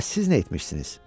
Bəs siz nə etmisiniz?